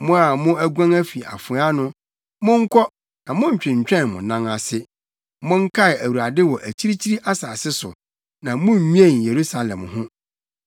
Mo a mo aguan afi afoa ano, monkɔ, na monntwentwɛn mo nan ase! Monkae Awurade wɔ akyirikyiri asase so, na munnwen Yerusalem ho.”